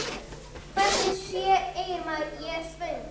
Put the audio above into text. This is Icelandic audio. Hvernig segir maður: Ég er svöng?